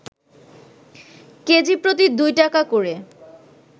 কেজিপ্রতি ২টাকা করে